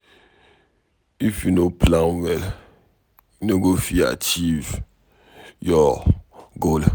If you no plan well, you no go fit achieve your goal.